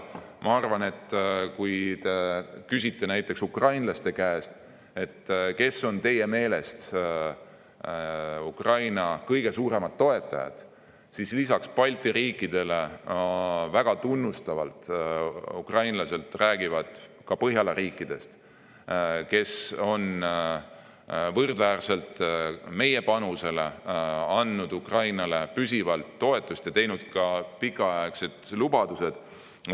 Ma arvan, et kui te küsite näiteks ukrainlaste käest, kes on nende meelest Ukraina kõige suuremad toetajad, siis räägivad ukrainlased peale Balti riikide väga tunnustavalt Põhjala riikidest, kes on võrdväärselt meie panusega andnud Ukrainale püsivalt toetust ja lubanud, et see toetus püsib pikka aega.